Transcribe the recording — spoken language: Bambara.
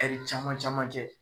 Ɛri caman caman kɛ.